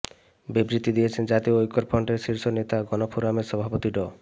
বিবৃতি দিয়েছেন জাতীয় ঐক্যফ্রন্টের শীর্ষ নেতা গণফোরামের সভাপতি ড